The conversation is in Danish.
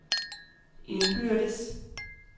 indbyrdes